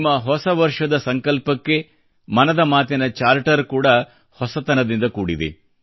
ನಿಮ್ಮ ಹೊಸವರ್ಷದ ಸಂಕಲ್ಪಕ್ಕೆ ಮನದ ಮಾತಿನ ಚಾರ್ಟರ್ ತುಂಬಾ ಹೊಸತನದಿಂದ ಕೂಡಿದೆ